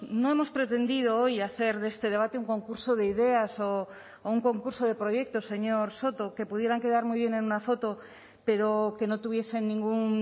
no hemos pretendido hoy hacer de este debate un concurso de ideas o un concurso de proyectos señor soto que pudieran quedar muy bien en una foto pero que no tuviesen ningún